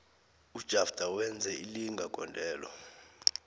ujafter wenze ilinga gondelo